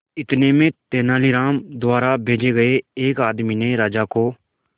इतने में तेनालीराम द्वारा भेजे गए एक आदमी ने राजा को